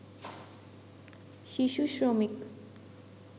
শিশু শ্রমিক